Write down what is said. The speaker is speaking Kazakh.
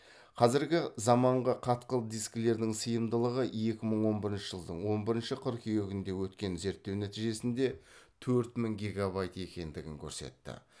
қазіргі замаңғы қатқыл дискілердің сыйымдылығы екі мың он бірінші жылдың он бірінші қыркүйегінде өткен зерттеу нәтижесінде төрт мың гегабайт екендігін көрсетті